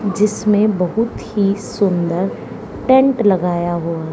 जिसमें बहुत ही सुंदर टेंट लगाया हुआ--